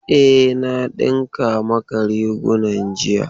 E, na dinka maka rigunan jiya